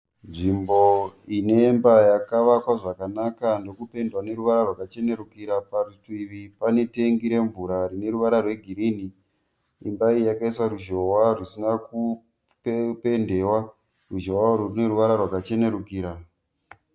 Nzvimbo inemba yakavakwa zvakanaka, ndokupendwa neruvara rwaka chenerukira. Parutivi pane tengi remvura rine ruvara rwe girinhi. Imba iyi yakaiswa ruzhowa rusina kupendewa. Ruzhowa uru rune ruvara rwaka chenerukira.